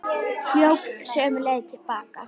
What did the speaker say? Hljóp sömu leið til baka.